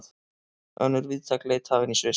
Önnur víðtæk leit hafin í Sviss